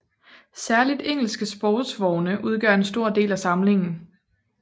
Særligt engelske sportsvogne udgør en stor del af samlingen